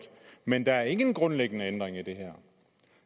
men der er ingen grundlæggende ændring i det her